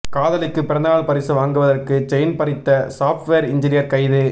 காதலிக்கு பிறந்தநாள் பரிசு வாங்குவதற்கு செயின் பறித்த சாப்ட்வேர் இன்ஜினியர் கைது